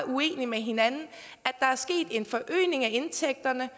uenige med hinanden at af indtægterne